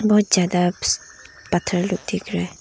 बहोत ज्यादा पत्थर लोग दिख रहे हैं।